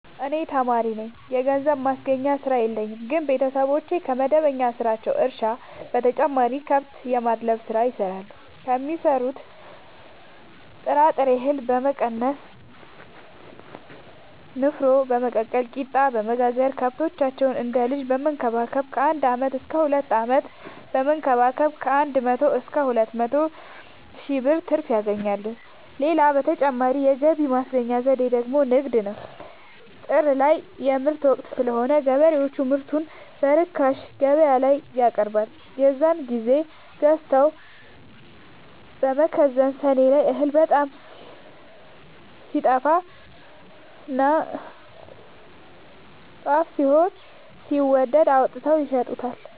እኔ ተማሪነኝ ምንም የገንዘብ ማስገኛ ስራ የለኝም ግን ቤተሰቦቼ ከመደበኛ ስራቸው እርሻ በተጨማሪ ከብት የማድለብ ስራ ይሰራሉ ከሚዘሩት ጥራጥሬ እሀል በመቀነስ ንፋኖ በመቀቀል ቂጣበወጋገር ከብቶቻቸውን እንደ ልጅ በመከባከብ ከአንድ አመት እስከ ሁለት አመት በመንከባከብ ከአንድ መቶ እስከ ሁለት መቶ ሺ ብር ትርፍ ያገኛሉ። ሌላ ተጨማሪ የገቢ ማስገኛ ዘዴ ደግሞ ንግድ ነው። ጥር ላይ የምርት ወቅት ስለሆነ ገበሬው ምርቱን በርካሽ ገበያላይ ያቀርባል። የዛን ግዜ ገዝተው በመከዘን ሰኔ ላይ እህል በጣም ሲጠፋና ጦፍ ሆኖ ሲወደድ አውጥተው ይሸጡታል።